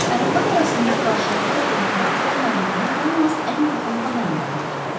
Ər-arvad arasında qarşılıqlı etibar olmadığını yalnız ən yaxın adamlar bilirdilər.